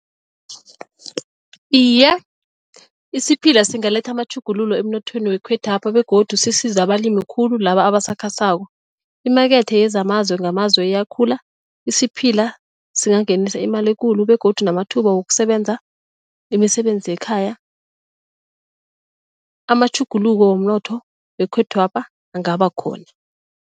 Iye, isiphila singaletha amatjhugululo emnothweni wekhwethwapha begodu sisize abalimi khulu laba abasakhasako. Imakethe yezamazwe ngamazwe iyakhula isiphila singangenisa imali ekulu begodu namathuba wokusebenza imisebenzi yekhaya amatjhuguluko womnotho wekhethwapha angabakhona.